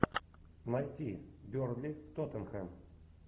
найти бернли тоттенхэм